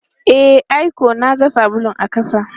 E, ai ko na ga sabulun a ƙasa.